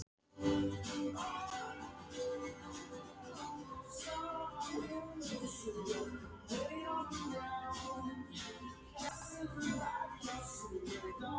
Hver var þetta sem seldi þér það? Skiptir það máli?